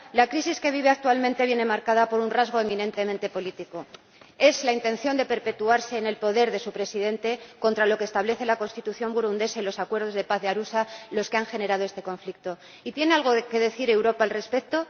La crisis que vive actualmente viene marcada por un rasgo eminentemente político es la intención de perpetuarse en el poder de su Presidente, contra lo que establece la Constitución burundesa y los Acuerdos de Paz de Arusha, lo que ha generado este conflicto. Y ¿tiene algo que decir Europa al respecto?